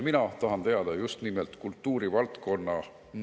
Mina tahan teada just nimelt mõjude kohta kultuurivaldkonnas.